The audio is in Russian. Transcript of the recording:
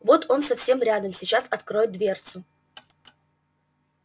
вот он совсем рядом сейчас откроет дверцу